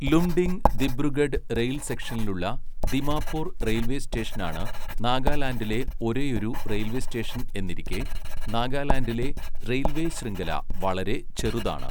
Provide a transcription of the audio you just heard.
Lumding Dibrugarh rail സെക്ഷനിലുളള Dimapur railway സ്റ്റേഷനാണ് നാഗാലാൻഡിലെ ഒരേയൊരു റെയിൽവേസ്റ്റേഷൻ എന്നിരിക്കെ നാഗാലാൻഡിലെ റെയിൽവേശൃംഖല വളരെ ചെറുതാണ്.